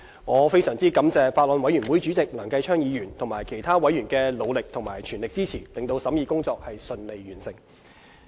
我非常感謝法案委員會主席梁繼昌議員及其他委員的努力和全力支持，令審議工作順利完成。